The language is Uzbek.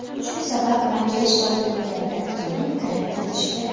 Shu sabab makiyaj tozalanganidan keyin krem surtish kerak.